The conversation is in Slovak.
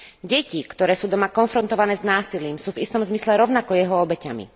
Deti, ktoré sú doma konfrontované s násilím, sú v istom zmysle rovnako jeho obeťami.